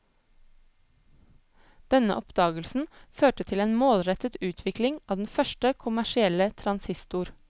Denne oppdagelsen førte til en målrettet utvikling av den første kommersielle transistor.